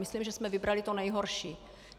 Myslím, že jsme vybrali tu nejhorší.